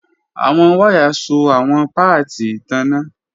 Awọn waya so awọn paati itanna.